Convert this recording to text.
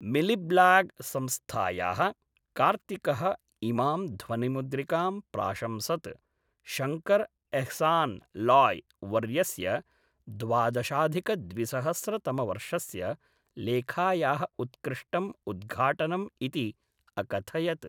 मिलिब्लाग् संस्थायाः कार्तिकः इमां ध्वनिमुद्रिकां प्राशंसत्, शङ्कर्‌ एह्सान्‌ लोय् वर्यस्य द्वादशाधिकद्विसहस्रतमवर्षस्य लेखायाः उत्कृष्टम् उद्घाटनम् इति अकथयत्‌।